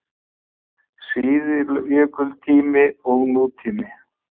SÍÐJÖKULTÍMI OG NÚTÍMI